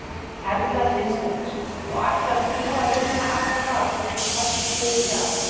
Erla Hlynsdóttir: Og ætlar þú að vinna alla sem þú teflir við í dag?